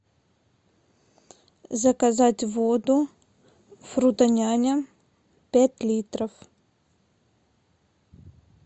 заказать воду фрутоняня пять литров